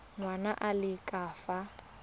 ngwana a le ka fa